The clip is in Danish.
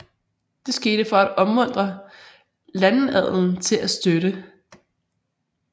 Det skete for at opmuntre landadelen til at støtte